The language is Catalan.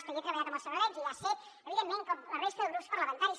i jo he treballat amb el senyor ordeig i hi ha set evidentment com la resta de grups parlamentaris